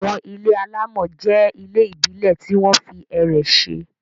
Àwọn ilé alámọ̀ jẹ́ ilé ìbílẹ̀ tí wọ́n fi ẹ̀rẹ̀ ṣe.